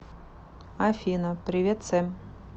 афина привет сэм